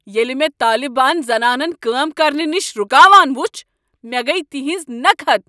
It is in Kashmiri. ییٚلہ مےٚ طالبان چھ زنانن کٲم کرنہٕ نش رکاوان وُچھ، مےٚ گٔیہ تہنز نكحت۔